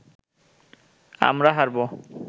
আমরা হারবো